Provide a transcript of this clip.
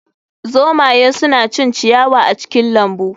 Zomaye suna cin ciyawa a cikin lambu